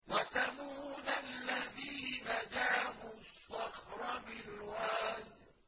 وَثَمُودَ الَّذِينَ جَابُوا الصَّخْرَ بِالْوَادِ